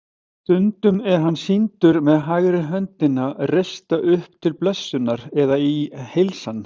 Stundum er hann sýndur með hægri höndina reista upp til blessunar eða í heilsan.